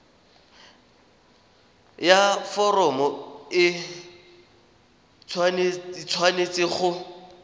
ya foromo e tshwanetse go